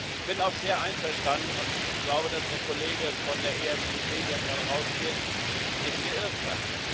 Ich bin auch sehr einverstanden und glaube, dass der Kollege von der EFDD, der gerade rausgeht, sich geirrt hat.